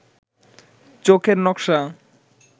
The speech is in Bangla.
চোখের নকশা